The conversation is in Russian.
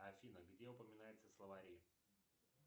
афина где упоминаются словари